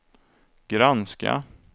granska